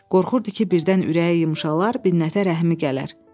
Qorxurdu ki, birdən ürəyi yumşalar, Binnətə rəhmi gələr.